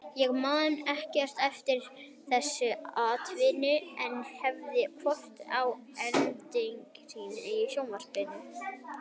Ég man ekkert eftir þessu atviki en hef horft á endursýningar í sjónvarpinu.